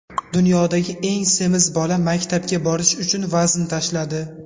Dunyodagi eng semiz bola maktabga borish uchun vazn tashladi.